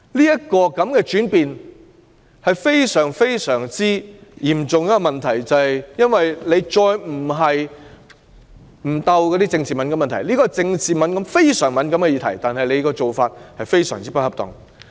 這種轉變是非常嚴重的問題，因為她再沒有避開政治敏感的問題，而對於這項非常敏感的政治議題，她的做法非常不恰當。